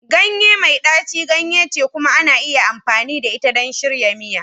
Ganye mai ɗaci ganye ce kuma ana iya amfani da ita don shirya miya.